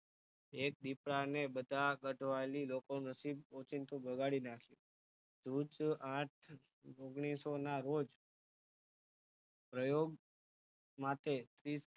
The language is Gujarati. એક દીપડાને બધા ગાંઠવાલી લોકો નસીબ ઓચિંતું બગાડી નાખે આઠ ઓગણિસોના રોજ પ્રયોગ માટે ત્રીસ